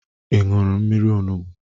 Ị nụrụ mmiri onugbu?